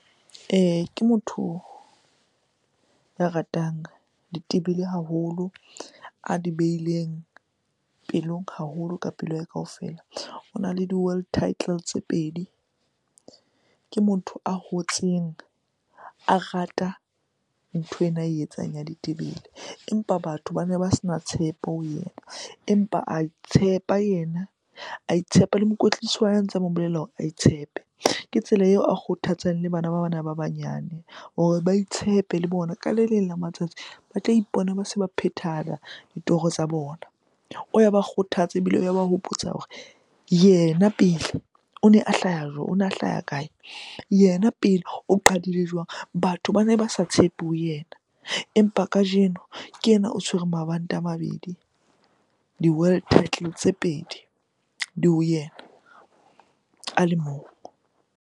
Ke motho ya ratang ditebele haholo, a di behileng pelong haholo ka pelo ya kaofela, ona le di-world title tse pedi. Ke motho a hotseng a rata nthwena ae etsang ya ditebele. Empa batho bane ba sena tshepo ho yena empa a tshepa yena, a itshepa le mokwetlisi wa hae a ntse a mo bolella hore a itshepe. Ke tsela eo a kgothatsang le bana bana ba banyane hore ba itshepe le bona. Ka le leng la matsatsi ba tla ipona ba se ba phethahala ditoro tsa bona. O ya ba kgothatsa ebile o ya ba hopotsa hore yena pele o ne a hlaha o ne a hlaya kae? Yena pele o qadile jwang? Batho bane ba sa tshepe ho yena, empa kajeno ke yenwa o tshwere mabanta a mabedi. Di-world title tse pedi di ho yena a le mong.